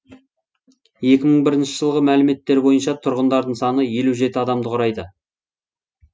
екі мың бірінші жылғы мәліметтер бойынша тұрғындарының саны елу жеті адамды құрайды